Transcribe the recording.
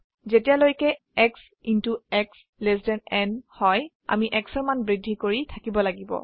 যেতিয়ালৈকেx x n হয় আমি x ৰ মান বৃদ্ধি কৰি থাকিব লাগিব